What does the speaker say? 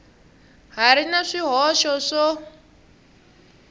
ha ri na swihoxo swo